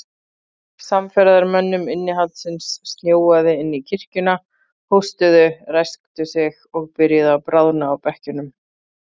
Samferðamönnum innihaldsins snjóaði inn í kirkjuna, hóstuðu, ræsktu sig og byrjuðu að bráðna á bekkjunum.